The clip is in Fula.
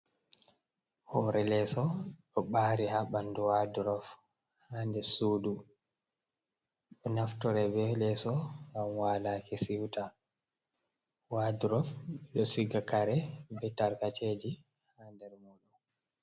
Hore leeso ɗo ɓari ha ɓandu wadrof ha nder sudu ɗo naftore be leeso ngam walaki siwta wadrof ɗo siga kare be tarkaceji ha nder mum.